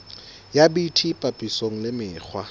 ya bt papisong le mekgwa